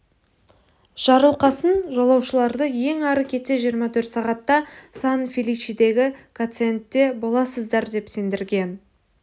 жарылқасын жолаушыларды ең ары кетсе жиырма төрт сағатта сан-феличедегі гациендте боласыздар деп сендірген